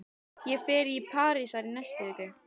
Ég fer til Parísar í næstu viku.